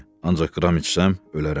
Ancaq qram içsəm, ölərəm.